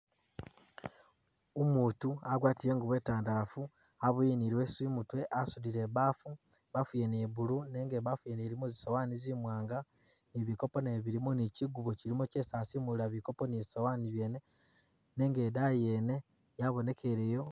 Umuutu agwatile ingubo itandalafu aboyile ni i'leesu i'mutwe asudile i'baafu, i'baafu yene ya blue nenga i'baafu yene ilimo zisowaani zimwaanga ni bikopo nabyo bili ni kigubo kilimu kyesi asimulila bikopo ni zisowaani zene, nenga idayi yene yabonekeleyo...